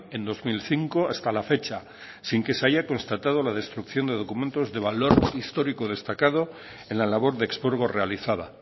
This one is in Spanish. en dos mil cinco hasta la fecha sin que se haya constatado la destrucción de documentos de valor histórico destacado en la labor de expurgo realizada